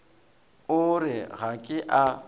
o re ga ke a